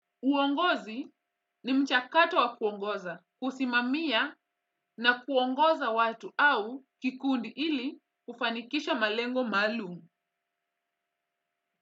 Uongozi. Ni mchakato wa kuongoza, kusimamia. Na kuongoza watu, au kikundi ili kufanikisha malengo maalum.